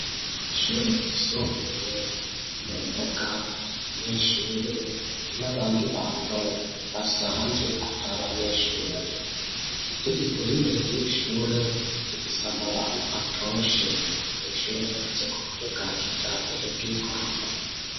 Ishure ryisumbuye, mumbuga harabanyeshure n'abandi bantu basanzwe atari abanyeshure igitegeko y'imbere y'irishure gifise amababi atoshe, irishure ryubatse ku buryo bwa kijambere bw'igorofa.